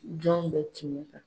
Jɔn bɛ ci min kan